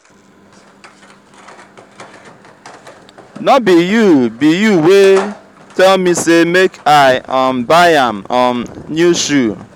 no be you be you wey tell me say make i um buy am um new shoe